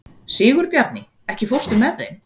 Sigurbjarni, ekki fórstu með þeim?